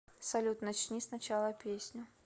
салют начни с начала песню